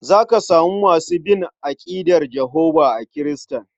Za ka samu masu bin aƙidar Jehovah a Kiristoci.